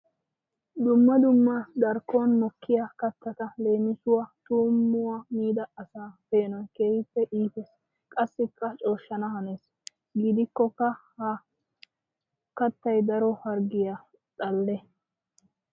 Dumma dumma darkkon mokkiya kattata leemisuwawu tuumuya miidda asaa peenoy keehippe iites qassikka cooshshana hanees. Gidikkoka ha kattay daro harggiyawu xale.